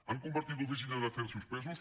han convertit l’oficina d’afers suspesos